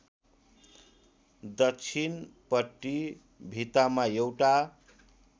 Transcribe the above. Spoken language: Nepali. दक्षिणपट्टि भित्तामा एउटा